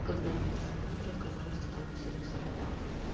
когда вынесли мебель и оказалось что там все на соплях